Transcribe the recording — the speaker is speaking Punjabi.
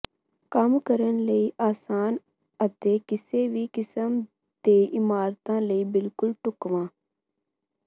ਕੰਮ ਕਰਨ ਲਈ ਆਸਾਨ ਅਤੇ ਕਿਸੇ ਵੀ ਕਿਸਮ ਦੇ ਇਮਾਰਤਾਂ ਲਈ ਬਿਲਕੁਲ ਢੁਕਵਾਂ